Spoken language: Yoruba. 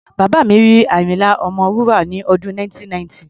Bàbá mi rí Àyínlá Ọmọwúrà ní ọdún 1990.